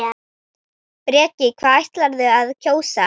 Breki: Hvað ætlarðu að kjósa?